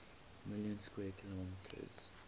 million square kilometers